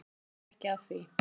Það kom ekki að því.